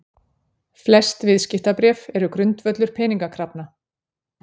Flest viðskiptabréf eru grundvöllur peningakrafna.